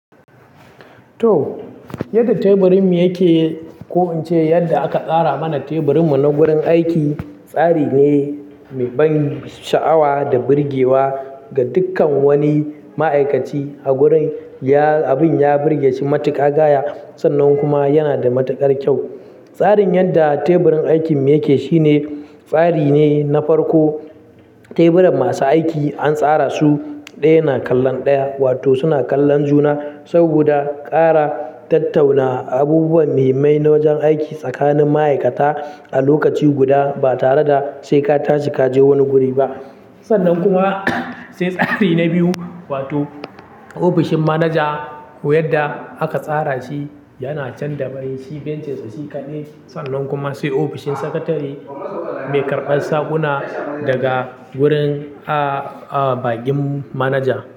To, yadda teburinmu yake, ko in ce yadda aka tsara mana teburinmu na gurin aiki. Tsari ne mai ban sha'awa da birgewa ga dukkan wani ma'aikaci a gurin. Ya abin ya birge shi matuƙa gaya, sannan kuma yana da matuƙar kyau. Tsarin yadda teburin aikinmu yake shine fari ne na farko. Teburan masu aiki an tsara su ɗaya na kallon ɗaya, wato suna kallon juna saboda ƙara tattauna abubuwa muhimmai na wajen aiki tsakanin ma'aikata a lokaci guda ba tare da sai ka tashi ka je wani guri ba. Sannan kuma sai tsari na biyu, wato ofishin manaja ko yadda aka tsara shi yana can da bai si bencinsa shi kaɗai. Sannan kuma sai ofishin sakatare mai karɓar saƙuna daga gurin, ah, ah, baƙin manaja.